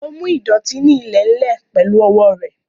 Ó mú ìdọ̀tí ní ilẹ̀ ń lè pẹ̀lú owó rẹ̀